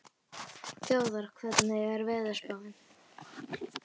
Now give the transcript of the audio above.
Þjóðar, hvernig er veðurspáin?